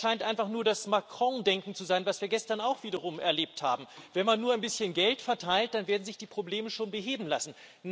Das scheint einfach nur das Macron Denken zu sein, das wir gestern auch wiederum erlebt haben Wenn man nur ein bisschen Geld verteilt, dann werden sich die Probleme schon beheben lassen.